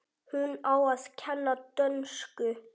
Hún á að kenna dönsku.